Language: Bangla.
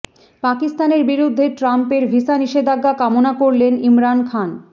পাকিস্তানের বিরুদ্ধে ট্রাম্পের ভিসা নিষেধাজ্ঞা কামনা করলেন ইমরান খান